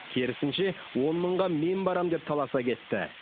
керісінше он мыңға мен барам деп таласа кетті